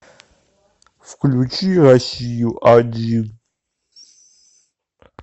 включи россию один